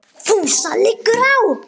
FÚSA LIGGUR Á